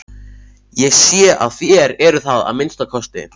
Ég sé að þér eruð það að minnsta kosti.